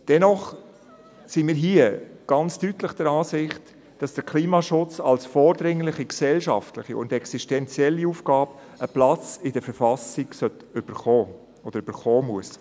Dennoch sind wir hier ganz deutlich der Ansicht, dass der Klimaschutz als vordringliche gesellschaftliche und existenzielle Aufgabe einen Platz in der Verfassung erhalten muss.